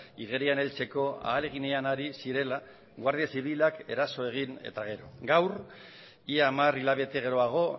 igerian heltzeko ahaleginean ari zirela guardia zibilak eraso egin eta gero gaur ia hamar hilabete geroago